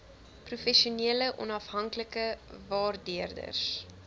professionele onafhanklike waardeerders